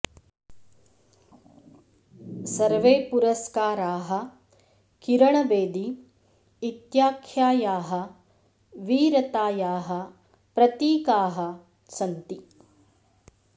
सर्वे पुरस्काराः किरण बेदी इत्याख्यायाः वीरतायाः प्रतीकाः सन्ति